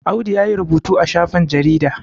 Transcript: Audu ya yi rubutu a shafin jaridar